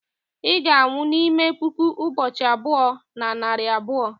ị ga-anwụ n'ime puku ụbọchị abụọ na narị abụọ